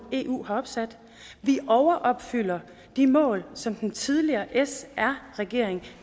eu har sat at vi overopfylder de mål som den tidligere sr regering